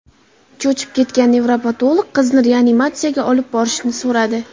Cho‘chib ketgan nevropatolog qizni reanimatsiyaga olib borishni so‘radi.